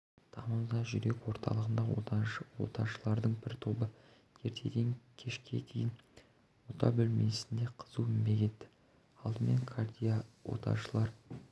тамызда жүрек орталығында оташылардың бір тобы ертеден кешке дейін ота бөлмесінде қызу еңбек етті алдымен кардиооташылар